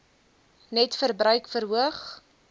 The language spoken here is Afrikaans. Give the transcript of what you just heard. net verbruik verhoog